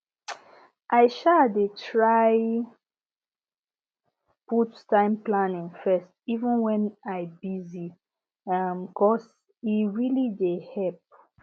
i um dey try put time planning first even when i busy um cos e really dey help